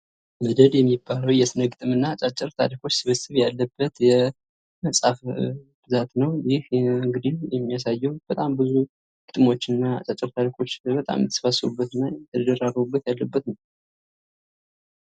መደድ የሚባልው የስነ-ግጥም እና አጫጭር ታሪኮች ስብስብ ያለበት የመፅሐፍ ብዛት ነው :: ይህ እንግዲህ የሚያሳየው በጣም ቡዙ ግጥሞች እና አጫጭር ታሪኮች የተሰባሰቡበት እና የተደራረቡበት ያሉበት ነው ::